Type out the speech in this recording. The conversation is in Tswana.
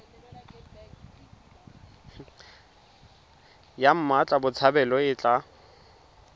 ya mmatla botshabelo e tla